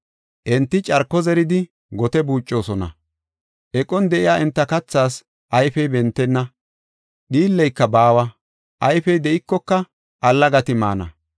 “Enti carko zeridi gote buucosona. Eqon de7iya enta kathaas ayfey bentenna; dhiilleyka baawa; ayfey de7ikoka allagati maana.